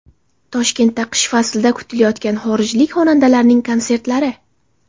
Toshkentda qish faslida kutilayotgan xorijlik xonandalarning konsertlari.